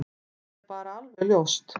Það er bara alveg ljóst.